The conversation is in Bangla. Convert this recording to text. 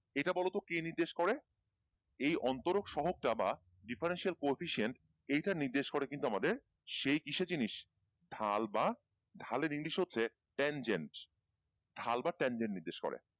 এইটা বলতো কে নির্দেশ করে এই অন্তরক সহক চাবা differential coefficient এইটা নির্দেশ করে কিন্তু আমাদের সেই দিসে জিনিস ঢাল বা ঢালের english হচ্ছে tangents ঢাল বা tangents নির্দেশ করে